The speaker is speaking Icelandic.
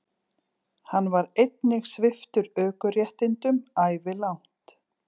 Hann var einnig sviptur ökuréttindum ævilangt